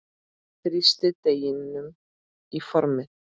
Þrýstið deiginu í formið.